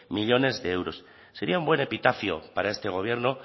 millónes de euros sería un buen epitafio para este gobierno